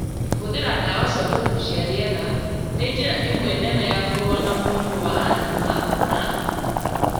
Kũhũthĩra ndawa cia kũgucia rĩera nĩ njĩra ĩmwe nene ya kũrũa na mũrimũ wa asthma na